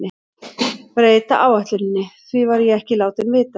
Breyta áætluninni, því var ég ekki látinn vita.